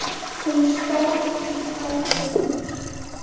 Hún stóð í tvær vikur.